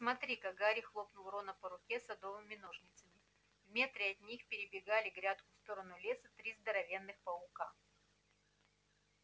смотри-ка гарри хлопнул рона по руке садовыми ножницами в метре от них перебегали грядку в сторону леса три здоровенных паука